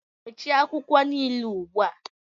Mechie akwụkwọ niile ugbu a!